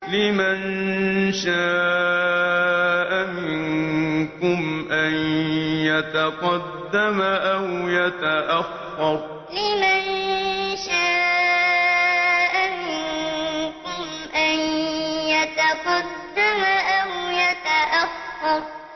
لِمَن شَاءَ مِنكُمْ أَن يَتَقَدَّمَ أَوْ يَتَأَخَّرَ لِمَن شَاءَ مِنكُمْ أَن يَتَقَدَّمَ أَوْ يَتَأَخَّرَ